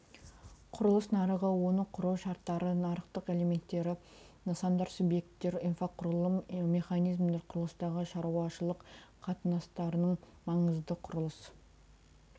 құрылыс нарығы оны құру шарттары нарықтың элементтері нысандар субъекттер инфрақұрылым механизмдер құрылыстағы шаруашылық қатынастарының маңызы құрылыс